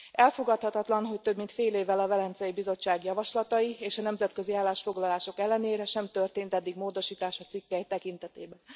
Elfogadhatatlan, hogy több mint fél évvel a Velencei Bizottság javaslatai és a nemzetközi állásfoglalások ellenére sem történt eddig módosítás a cikkely tekintetében.